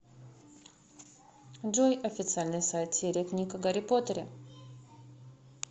джой официальный сайт серия книг о гарри поттере